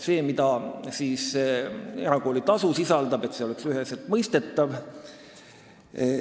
See, mida erakoolitasu sisaldab, peab olema üheselt mõistetav.